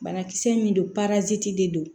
Banakisɛ min don de don